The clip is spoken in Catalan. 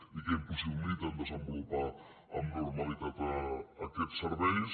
i que impossibiliten desenvolupar amb normalitat aquests serveis